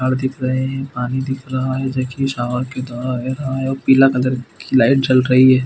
पहाड़ दिख रहे हैं पानी दिख रहे है जैसे की सावर दिखाई दे रहा हैं पीला कलर की लाइट जल रही है।